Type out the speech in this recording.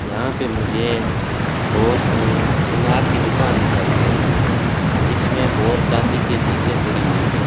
यहां पे मुझे बहोत सोनार की दुकान दिखाई दे रही है इसमें बहोत चांदी की चीजे पड़ी हुई है।